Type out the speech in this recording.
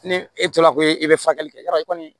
Ni e tora ko e bɛ furakɛli kɛ yɔrɔ kɔni